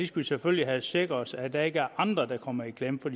skal selvfølgelig have sikret os at der ikke er andre der kommer i klemme for